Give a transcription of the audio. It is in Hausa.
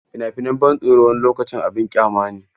Fina-finan ban tsoro wani lokacin abin ƙyama ne.